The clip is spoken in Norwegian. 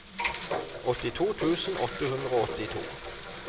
åttito tusen åtte hundre og åttito